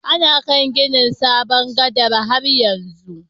Ana kan ginin sabon gadan' har yanzu.